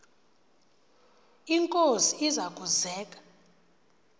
inkosi iza kuzek